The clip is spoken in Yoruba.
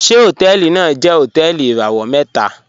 Ṣẹ̀ hotẹẹlì naa jẹ̀ hotẹẹlì irawọ̀ mẹta?